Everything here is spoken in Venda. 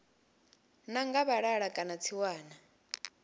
ḓa nga vhalala kana tsiwana